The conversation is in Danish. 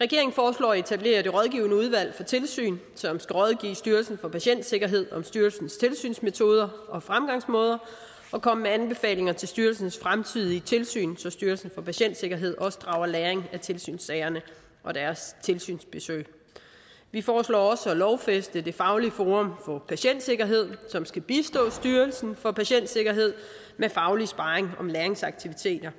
regeringen foreslår at etablere rådgivende udvalg for tilsyn som skal rådgive styrelsen for patientsikkerhed om styrelsens tilsynsmetoder og fremgangsmåder og komme med anbefalinger til styrelsens fremtidige tilsyn så styrelsen for patientsikkerhed også drager læring af tilsynssagerne og deres tilsynsbesøg vi foreslår også at lovfæste fagligt forum for patientsikkerhed som skal bistå styrelsen for patientsikkerhed med faglig sparring om læringsaktiviteter